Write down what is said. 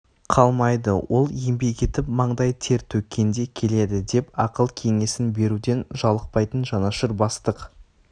қалмайды ол еңбек етіп маңдай төр төккенде келеді деп ақыл кеңесін беруден жалықпайтын жанашыр бастық